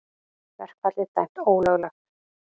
Verkfallið dæmt ólöglegt